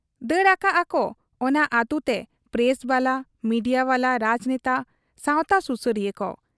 ᱫᱟᱹᱲ ᱟᱠᱟᱜ ᱟᱠᱚ ᱚᱱᱟ ᱟᱹᱛᱩᱛᱮ ᱯᱨᱮᱥᱵᱟᱞᱟ, ᱢᱤᱰᱤᱭᱟ ᱵᱟᱞᱟ, ᱨᱟᱡᱽᱱᱮᱛᱟ, ᱥᱟᱶᱛᱟ ᱥᱩᱥᱟᱹᱨᱤᱭᱟᱹ ᱠᱚ ᱾